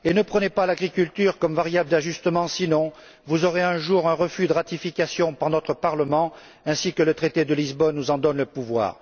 Ne prenez pas l'agriculture comme variable d'ajustement, sinon vous vous verrez adresser un jour un refus de ratification par notre Parlement, ainsi que le traité de Lisbonne nous en donne le pouvoir.